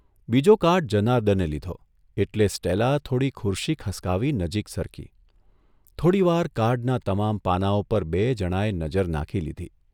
બીજો કાર્ડ જનાર્દને લીધો એટલે સ્ટેલા થોડી ખુરશી ખસકાવી નજીક સરકી, થોડીવાર કાર્ડનાં તમામ પાનાંઓ પર બેય જણાએ નજર નાંખી લીધી.